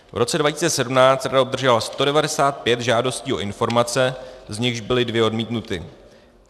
V roce 2017 rada obdržela 195 žádostí o informace, z nichž byly dvě odmítnuty.